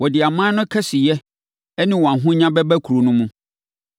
Wɔde aman no kɛseyɛ ne wɔn ahonya bɛba kuro no mu.